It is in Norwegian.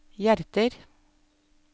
hjerter